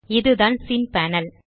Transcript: இதுதான் scene panel